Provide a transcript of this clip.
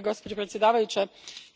Gospođo predsjednice,